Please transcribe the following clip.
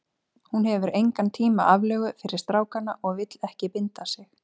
Hún hefur engan tíma aflögu fyrir stráka og vill ekki binda sig.